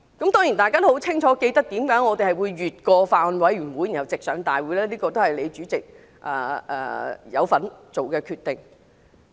大家都清楚記得為甚麼這條例草案會繞過法案委員會直上大會，這是主席你都有份作的決定。